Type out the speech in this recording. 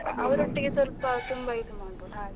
ಅವರೊಟ್ಟಿಗೆ ಸ್ವಲ್ಪ ತುಂಬ ಇದು ಮಾಡ್ಬೋದು ಹಾಗೆ.